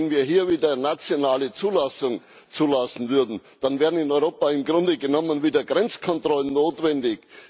Wenn wir hier wieder nationale Zulassung zulassen würden, dann würden in Europa im Grunde genommen wieder Grenzkontrollen notwendig.